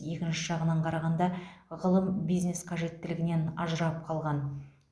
екінші жағынан қарағанда ғылым бизнес қажеттілігінен ажырап қалған